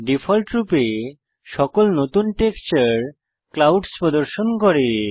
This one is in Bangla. ডিফল্টরূপে সকল নতুন টেক্সচার ক্লাউডস প্রদর্শন করে